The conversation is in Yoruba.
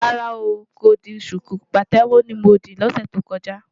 Rárá,n kò di ṣùkú, pàtẹ́wọ́ ni mo dì lọ́sẹ̀ tó kọjá.